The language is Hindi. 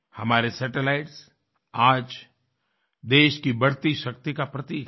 हमारे सैटेलाइट्स आज देश की बढ़ती शक्ति का प्रतीक हैं